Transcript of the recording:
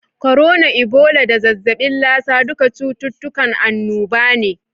korona, ibola da zazzabin lasa duka cututtukan annoba ne.